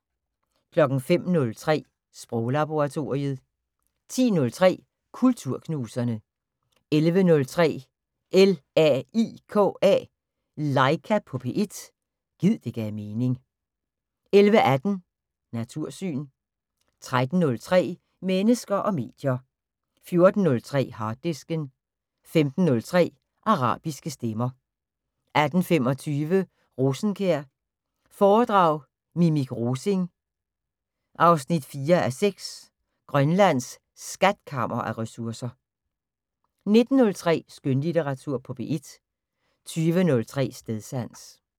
05:03: Sproglaboratoriet 10:03: Kulturknuserne 11:03: LAIKA på P1 – gid det gav mening 11:18: Natursyn 13:03: Mennesker og medier 14:03: Harddisken 15:03: Arabiske stemmer 18:25: Rosenkjær foredrag Minik Rosing 4:6 Grønlands skatkammer af ressourcer 19:03: Skønlitteratur på P1 20:03: Stedsans